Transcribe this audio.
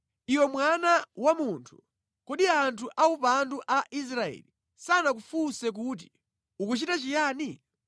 “Iwe mwana wa munthu, kodi anthu aupandu a Israeli sanakufunse kuti ukuchita chiyani?